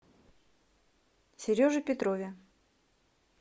сереже петрове